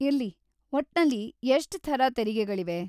ಇರ್ಲಿ, ಒಟ್ನಲ್ಲಿ ಎಷ್ಟ್ ಥರ ತೆರಿಗೆಗಳಿವೆ?